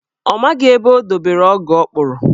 Ọ maghị ebe o dobere ọgụ ọ kpụrụ.